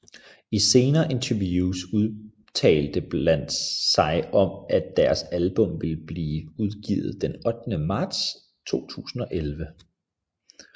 I senere interviews udtalte bandet sig om at at deres album vil blive udgivet den 8 marts 2011